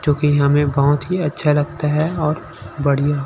जो कि हमें बहुत ही अच्छा लगता है और बढ़िया--